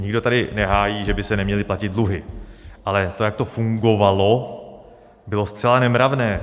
Nikdo tady nehájí, že by se neměly platit dluhy, ale to, jak to fungovalo, bylo zcela nemravné.